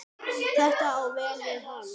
Þetta á vel við hann.